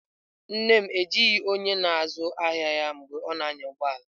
Nne m ejighị onye na-azụ ahịa ya mgbe ọ na-anya ụgbọ ala.